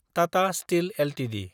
Tata steel Ltd